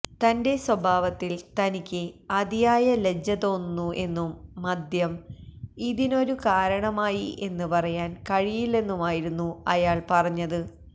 തന്റെ സ്വഭാവത്തിൽ തനിക്ക് അതിയായ ലജ്ജ തോന്നുന്നു എന്നും മദ്യം ഇതിനൊരു കാരണമായി എന്ന് പറയാൻ കഴിയില്ലെന്നുമായിരുന്നു അയാൾ പറഞ്ഞത്